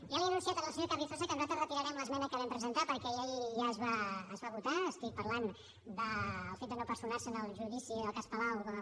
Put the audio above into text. ja li he anunciat al senyor carrizosa que nosaltres retirarem l’esmena que vam presentar perquè ja es va votar estic parlant del fet de no personar se en el judici del cas palau com a